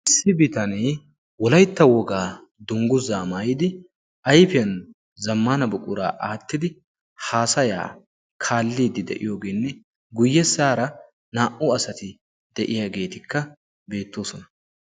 Issi bitanee wolaytta wogaa dungguzaa maayidi ayfiyan zammana buquraa aattidi haasayaa kaalliidi de'iyoogeenne guyyessaara naa"u asati de'iyaageetikka beettoosona.